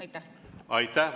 Aitäh!